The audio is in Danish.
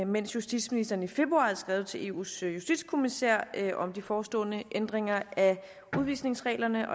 mens justitsministeren i februar havde skrevet til eus justitskommissær om de forestående ændringer af udvisningsreglerne